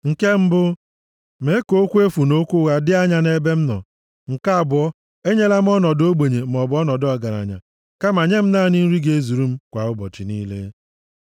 Nke mbụ, mee ka okwu efu na okwu ụgha dị anya nʼebe m nọ. Nke abụọ, e nyela m ọnọdụ ogbenye maọbụ ọnọdụ ọgaranya, kama nye m naanị nri ga-ezuru m kwa ụbọchị niile.